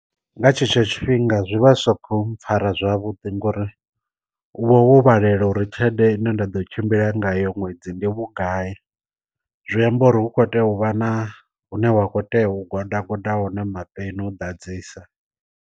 Nga tshetsho tshifhinga zwi vha zwisa khou mpfara zwavhuḓi ngauri u vha ho vhalelela uri tshelede ine nda ḓo tshimbila nga yo ṅwedzi ndi vhugai, zwi amba uri hu kho tea u vha na hune wa kho tea u goda goda hone ma peni u ḓadzisa.